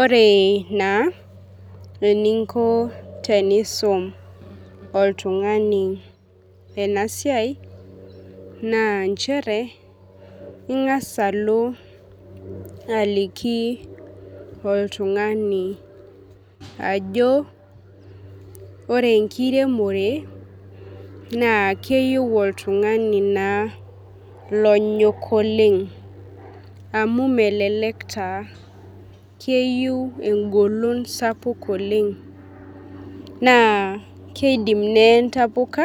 Ore na eninko tenusum oltungani enasiai na nchere ingasa alo aliki oltungani ajo ore enkiremore na keyieu oltungani onyok oleng amu melelek taa keyieu engolon sapuk oleng na kidim neye ntapuka